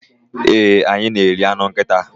ee, anyị na-eri anụ nkịta